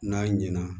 N'a ɲɛna